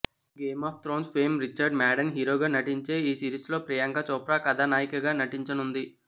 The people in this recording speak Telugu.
game of Thrones fame Richard Madden హీరోగా నటించే ఈ సిరీస్లో ప్రియాంక చోప్రా కథానాయికగా నటించనుంది